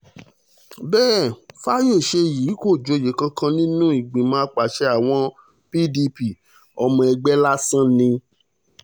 bẹ́ẹ̀ fayọ̀ṣe yìí kò joyè kankan nínú ìgbìmọ̀ àpasẹ̀ àwọn pdp ọmọ ẹgbẹ́ lásán ni